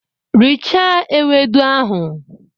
Richaa ewedu ahụ!